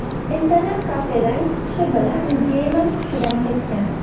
Internet-kafedan chiqishi bilan geymer xushidan ketgan.